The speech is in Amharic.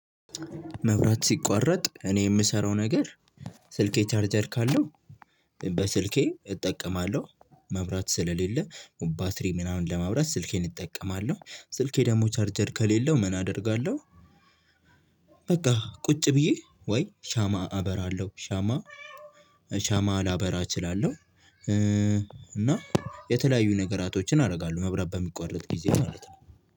መብራት ሲቋረጥ እኔ የምሰራው ነገር ስልኬ ቻርጀር ካለው በስልኬ እጠቀማለሁ መብራት ስለሌለ ባትሪ ምናምን ለመብራት ስልኬን እጠቀማለሁ ስልኬ ደግሞ ቻርጀር ከሌለው ምን አደርጋለሁ በቃ ቁጭ ብዬ ወይ ሻማ አበራለሁ ሻማ ሻማ ላበራ እችላለሁ። እ እና የተለያዩ ነገራቶችን አደርጋለሁ መብራት በሚቋረጥ ጊዜ ማለት ነው።